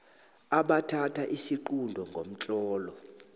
abathatha isiqunto ngomtlolo